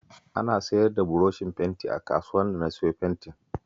Ana siyar da burushin fenti a kasuwar da na siyo fentin